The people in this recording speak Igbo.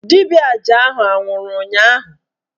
Dibịa aja ahụ anwụrụ ụnyaahụ?